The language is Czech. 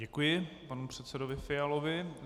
Děkuji panu předsedovi Fialovi.